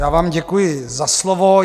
Já vám děkuji za slovo.